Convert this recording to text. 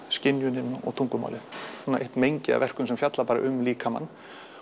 skynjunin og tungumálið það er eitt mengi af verkum sem fjalla bara um líkamann